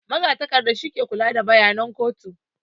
Magatakarda shi ke kula da bayanan kotu